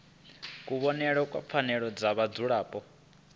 kuvhonele kwa pfanelo dza vhadzulapo